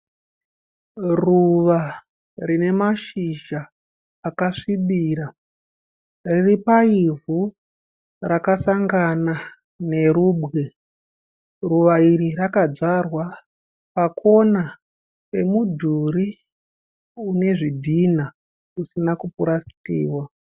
Ruva rine mashizha akasvibira. Riri paivhu rakasangana nerubwe. Ruva iri rakadzvarwa pakona yemudhuri une zvidhinha zvisina kupurasitiwa.